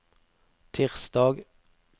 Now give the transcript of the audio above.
tirsdag